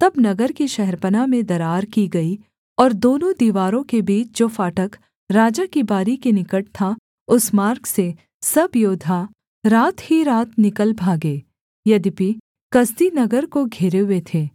तब नगर की शहरपनाह में दरार की गई और दोनों दीवारों के बीच जो फाटक राजा की बारी के निकट था उस मार्ग से सब योद्धा रात ही रात निकल भागे यद्यपि कसदी नगर को घेरे हुए थे